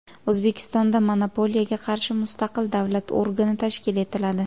O‘zbekistonda monopoliyaga qarshi mustaqil davlat organi tashkil etiladi.